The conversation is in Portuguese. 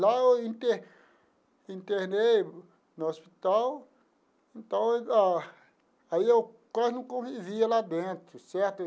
Lá eu inter internei no hospital, então ah aí eu quase não convivia lá dentro, certo?